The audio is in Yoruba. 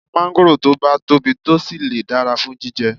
Máńgòrò tó bá tóbi tó sì le dára fún jíjẹ